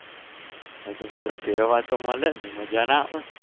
હા તો પણ ફેરવવા તો મળે ને મજા ના આવે